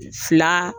Fila